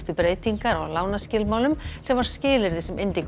breytingar á lánaskilmálum sem var skilyrði sem